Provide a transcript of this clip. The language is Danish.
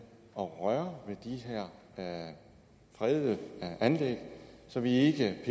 at røre ved de her fredede anlæg så vi ikke